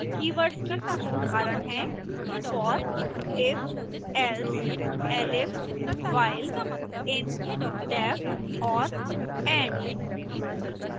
keywords के कुछ उदाहरण हैं for if else elif while in def or and